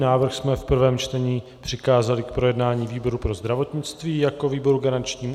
Návrh jsme v prvém čtení přikázali k projednání výboru pro zdravotnictví jako výboru garančnímu.